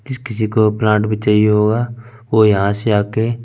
जिस किसी को ब्रांड भी चाहिए होगा वो यहा से आके --